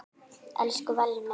Elsku Valli minn.